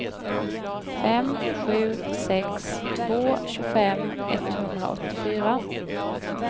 fem sju sex två tjugofem etthundraåttiofyra